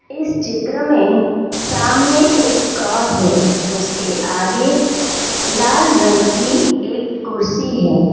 इस चित्र में सामने एक क्रॉस है उसके आगे लाल रंग की एक कुर्सी है।